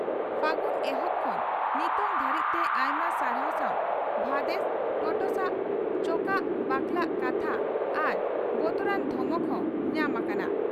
ᱯᱷᱟᱹᱜᱩᱱ ᱮᱦᱚᱵ ᱠᱷᱚᱱ ᱱᱤᱛᱚᱝ ᱫᱷᱟᱹᱨᱤᱡᱛᱮ ᱟᱭᱢᱟ ᱥᱟᱨᱦᱟᱣ ᱥᱟᱣ ᱵᱷᱟᱫᱮᱥ/ᱴᱚᱴᱚᱥᱟᱜ, ᱪᱚᱠᱟᱜ ᱵᱟᱠᱞᱟ ᱠᱟᱛᱷᱟ ᱟᱨ ᱵᱚᱛᱚᱨᱟᱱ ᱫᱷᱚᱢᱚᱠ ᱦᱚᱸ ᱧᱟᱢ ᱟᱠᱟᱱᱟ ᱾